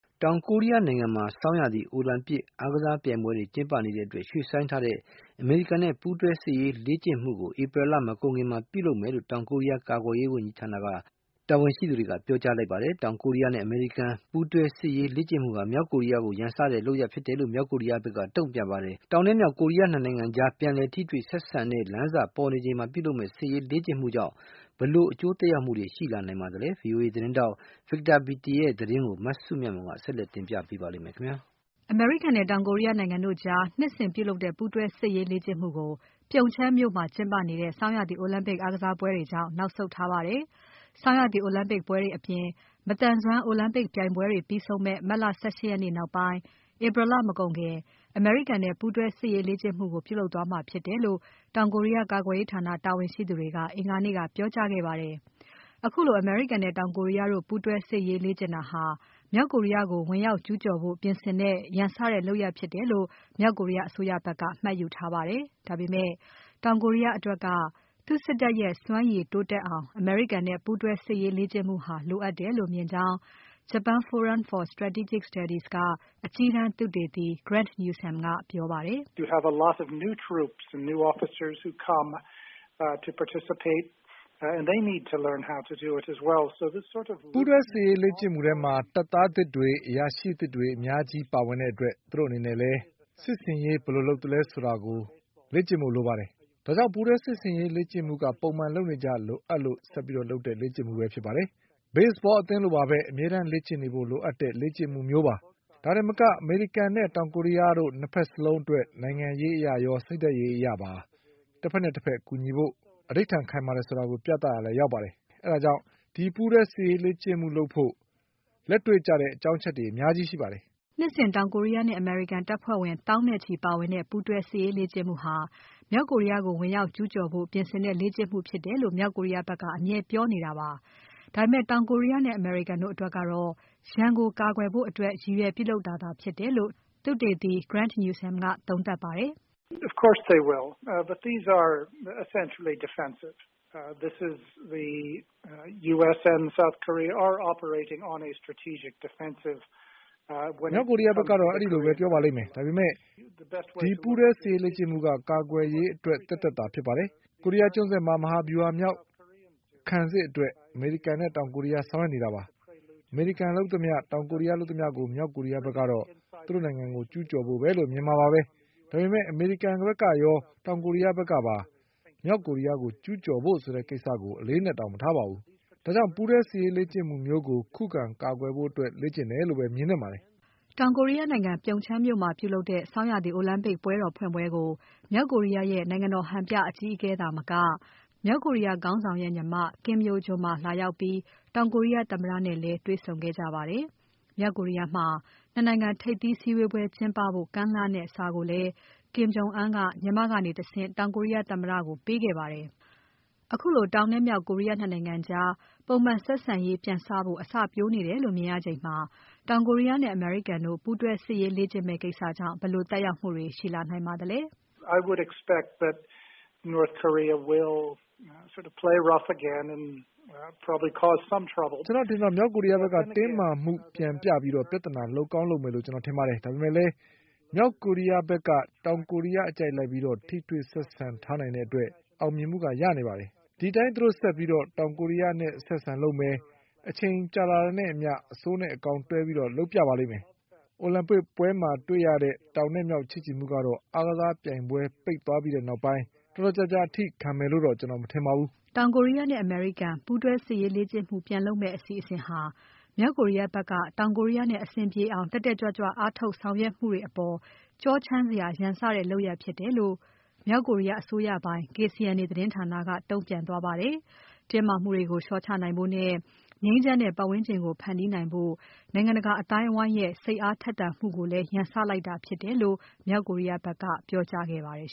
တောင်ကိုရီးယားနိုင်ငံမှာ ဆောင်းရာသီအိုလံပစ်အားကစားပြိုင်ပွဲတွေကျင်းပနေတဲ့အတွက် ရွှေ့ဆိုင်းထားတဲ့ အမေရိကန်နဲ့ ပူးတွဲစစ်ရေးလေ့ကျင့်မှုကို ဧပြီလ မကုန်ခင် ပြုလုပ်မယ်လို့ တောင်ကိုရီးယား ကာကွယ်ရေးဌာန တာဝန်ရှိသူတွေက ပြောကြားခဲ့ပါတယ်။ တောင်ကိုရီးယားနဲ့ အမေရိကန်ပူးတွဲ စစ်ရေးလေ့ကျင့်မှုဟာ မြောက်ကိုရီးယားကိုရန်စတဲ့လုပ်ရပ်ဖြစ်တယ်လို့ မြောက်ကိုရီးယားဖက်က တုံ့ပြန်ပါတယ်။ တောင်နဲ့မြောက် ကိုရီးယား နှစ် နိုင်ငံကြား ပြန်လည်ထိတွေ့ဆက်ဆံတဲ့လမ်းစပေါ်နေချိန်မှာ ပြုလုပ်မယ့်စစ်ရေးလေ့ကျင့်မှုကြောင့် ဘယ်လိုသက်ရောက်မှုတွေရှိလာနိုင်ပါသလဲ။ VOA သတင်းထောက် Victor Beattie ရဲ့သတင်းကို မစုမြတ်မွန်က ဆက်လက်တင်ပြပါမယ်။ အမေရိကန်နဲ့ တောင်ကိုရီးယားနိုင်ငံတို့ကြား နှစ်စဉ်ပြုလုပ်တဲ့ ပူးတွဲစစ်ရေးလေ့ကျင့်မှုကို ပြုံချန်းမြို့မှာကျင်းပနေတဲ့ ဆောင်းရာသီအိုလံပစ် အားကစားပြိုင်ပွဲတွေကြောင့် နောက်ဆုတ်ထားပါတယ်။ ဆောင်းရာသီအိုလံပစ်ပွဲတွေအပြင် မသန်စွမ်းအိုလံပစ်ပြိုင်ပွဲတွေပြီးဆုံးမယ့် မတ်လ ၁၈ ရက်နေ့နောက်ပိုင်း ဧပြီလ မကုန်ခင် အမေရိကန်နဲ့ပူးတွဲစစ်ရေးလေ့ကျင့်မှုတွေကို ပြုလုပ်သွားမှာဖြစ်တယ်လို့ တောင်ကိုရီးယား ကာကွယ်ရေးဌာနတာဝန်ရှိတွေက အင်္ဂါနေ့က ပြောကြားခဲ့ပါတယ်။ ခုလိုအမေရိကန်နဲ့တောင်ကိုရီးယားတို့ ပူးတွဲစစ်ရေးလေ့ကျင့်တာဟာ မြောက်ကိုရီးယားကို ဝင်ရောက်ကျူးကျော်ဖို့ပြင်ဆင်တဲ့ ရန်စတဲ့လုပ်ရပ်ဖြစ်တယ်လို့ မြောက်ကိုရီးယားအစိုးရဖက်က မှတ်ယူထားပါတယ်။ ဒါပေမဲ့ တောင်ကိုရီးယားအတွက်က သူ့စစ်တပ်ရဲ့ စွမ်းရည်တိုးတက်အောင် အမေရိကန်နဲ့ ပူးတွဲစစ်ရေးလေ့ကျင့်မှုဟာ လိုအပ်တယ်လို့မြင်ကြောင်း Japan Forum for Strategic Studies က အကြီးတန်းသုတေသီ Grant Newsham ကပြောပါတယ်။ “ပူးတွဲစစ်ရေးလေ့ကျင့်မှုထဲမှာ တပ်သားသစ်တွေ အရာရှိသစ်တွေ အများကြီးပါဝင်တဲ့အတွက် သူ့တို့အနေနဲ့လည်း စစ်ဆင်ရေး ဘယ်လိုလုပ်သလဲဆိုတာ လေ့ကျင့်ဖို့လိုပါတယ်။ ဒါကြောင့် ဒီပူးတွဲစစ်ရေးလေ့ကျင့်မှုက ပုံမှန် လုပ်နေကျ လိုအပ်လို့ဆက်လုပ်တဲ့ လေ့ကျင့်မှုပဲဖြစ်ပါတယ်။ Baseball အသင်းလိုပါပဲ အမြဲလေ့ကျင့်နေဖို့လိုအပ်လို့ လေ့ကျင့်တာမျိုးပါ။ ဒါတင်မက အမေရိကန်နဲ့ တောင်ကိုရီးယားတို့ ၂ ဖက်လုံးအတွက် နိုင်ငံရေးအရရော စိတ်ဓါတ်ရေးရာအရပါ တဖက်နဲ့တဖက်ကူညီဖို့ သဓိဌာန်ခိုင်မာတယ်ဆိုတာကို ပြသရာလည်း ရောက်ပါတယ်။ ဒါကြောင့် ဒီပူးတွဲစစ်ရေးလေ့ကျင့်မှုလုပ်ဖို့အတွက် လက်တေ့ွကျတဲ့ အကြောင်းအချက်တွေအများကြီးရှိပါတယ်။” နှစ်စဉ်တောင်ကိုရီးယားနဲ့ အမေရိကန်တပ်ဖွဲ့ဝင် သောင်းနဲ့ချီပါဝင်တဲ့ ပူးတွဲစစ်ရေးလေ့ကျင့်မှုဟာ မြောက်ကိုရီးယားကို ဝင်ရောက်ကျူးကျော်ဖို့ ပြင်ဆင်တဲ့လေ့ကျင့်မှုဖြစ်တယ်လို့ မြောက်ကိုရီးယားဖက်က အမြဲပြောနေတာပါ။ ဒါပေမဲ့ တောင်ကိုရီးယားနဲ့ အမေရိကန်တို့အတွက်ကတော့ ရန်ကိုကာကွယ်ဖို့အတွက်ရည်ရွယ်ပြုလုပ်တာသာဖြစ်တယ်လို့ သုတေသီ Grant Newsham ကသုံးသပ်ပါတယ်။ “မြောက်ကိုရီးယားဖက်ကတော့ အဲလိုပဲပြောပါလိမ့်မယ်။ ဒါပေမဲ့ ဒီပူးတွဲစစ်ရေးလေ့ကျင့်မှုက ကာကွယ်ရေးအတွက်သက်သက်သာဖြစ်ပါတယ်။ ကိုရီးယားကျွန်းဆွယ်မှာ မဟာဗြူဟာမြောက်ခံစစ်အတွက် အမေရိကန်နဲ့တောင်ကိုရီးယားက ဆောင်ရွက်နေတာပါ။ အမေရိကန်လုပ်သမျှ။ တောင်ကိုရီးယားလုပ်သမျှကို မြောက်ကိုရီးယားဖက်ကတော့ သူ့နိုင်ငံကို ကျူးကျော်ဖို့ပဲလို့ မြင်မှာပါပဲ။ ဒါပေမဲ့ အမေရိကန်ဖက်ကရော တောင်ကိုရီးယားဖက်ကရော မြောက်ကိုရီးယားကို ကျူးကျော်ဖို့ဆိုတဲ့ကိစ္စကို အလေးအနက်တောင်မထားပါဘူး။ ဒါကြောင့် ဒီပူးတွဲစစ်ရေးလေ့ကျင့်မှုမျိုးကို ခုခံကာကွယ်ဖို့အတွက်လေ့ကျင့်တယ်လို့ပဲ မြင်သင့်ပါတယ်။” တောင်ကိုရီးယားနိုင်ငံ ပြုံချမ်းမြို့မှာပြုလုပ်တဲ့ ဆောင်းရာသီအိုလံပစ်ပွဲတော်ဖွင့်ပွဲကို မြောက်ကိုရီးယားရဲ့ နိုင်ငံတော်ဟန်ပြအကြီးအကဲသာမက။ မြောက်ကိုရီးယားခေါင်းဆောင်ရဲ့ညီမ Kim Yo Jong ပါလာရောက်ပြီး တောင်ကိုရီးယားသမ္မတနဲ့လည်း တေ့ွဆုံခဲ့ကြပါတယ်။ မြောက်ကိုရီးယားမှာ ၂ နိုင်ငံထိပ်သီးစည်းဝေးပွဲကျင်းပဖို့ ကမ်းလှမ်းတဲ့စာကိုလည်း Kim Jong Un က ညီမကနေတဆင့် တောင်ကိုရီးယားသမ္မတကို ပေးခဲ့ပါတယ်။ ခုလို တောင်နဲ့မြောက်ကိုရီးယား ၂ နိုင်ငံကြား ပုံမှန်ဆက်ဆံရေးပြန်စဖို့ အစပျိုးနေချိန်မှာ တောင်ကိုရီးယားနဲ့ အမေရိကန်တို့ ပူးတွဲစစ်ရေးလေ့ကျင့်မယ့်ကိစ္စကြောင့်ဘယ်လို သက်ရောက်မှုတွေရှိလာနိုင်ပါသလဲ။ “ကျွန်တော့အထင်တော့ မြောက်ကိုရီးယားဖက်က တင်းမာမှုပြန်ပြပြီး ပြဿနာ လုပ်ကောင်းလုပ်မယ်လို့ ကျွန်တော်ထင်ပါတယ်။ ဒါပေမဲ့လည်း မြောက်ကိုရီးယားတို့ဖက်က တောင်ကိုရီးယားအကြိုက်လိုက်ပြီး ထိတွေ့ဆက်ဆံထားနိုင်တဲ့အတွက် အောင်မြင်မှုရနေပါတယ်။ အဲဒီအတိုင်းသူတို့ဆက်ပြီး တောင်ကိုရီးယားနဲ့ အဆက်အဆံလုပ်မယ်။ အချိန်ကြာလာတာနဲ့အမျှ အဆိုးနဲ့အကောင်းတွဲပြီးလုပ်ပြပါလိမ့်မယ်။ အိုလံပစ်ပွဲမှာတွေ့ရတဲ့ တောင်နဲ့မြောက်ချစ်ကြည်မှုကတော့ အားကစားပြိုင်ပွဲပိတ်ပွဲပြီးသွားတဲ့နောက်ပိုင်း တော်တော်ကြာကြာအထိခံမယ်လို့တော့ ကျွန်တော်မထင်ပါဘူး။” တောင်ကိုရီးယားနဲ့ အမေရိကန်ပူးတွဲစစ်ရေးလေ့ကျင့်မှု ပြန်လုပ်မယ့်အစီအစဉ်ဟာ မြောက်ကိုရီးယားဖက်က တောင်ကိုရီးယားနဲ့အဆင်ပြေအောင် တက်တက်ကြွကြွအားထုတ်ဆောင်ရွက်မှုတွေအပေါ် ကြောချမ်းစရာရန်စတဲ့လုပ်ရပ်ဖြစ်တယ်လို့ မြောက်ကိုရီးယားအစိုးရပိုင် KCNA သတင်းဌာနက တုံ့ပြန်သွားပါတယ်။ တင်းမာမှုတွေကို လျှော့ချနိုင်ဖို့နဲ့ ငြိမ်းချမ်းတဲ့ပါတ်ဝန်းကျင်ကို ဖန်တီးနိုင်ဖို့ နိုုင်ငံတကာအသိုင်းအဝိုင်းရဲ့ စိတ်ထက်သန်မှုကို ရန်စလိုက်တာဖြစ်တယ်လို့လည်း မြောက်ကိုရီးယားဖက်က ပြောကြားခဲ့ပါတယ်